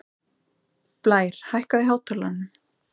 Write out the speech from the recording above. Blær, hækkaðu í hátalaranum.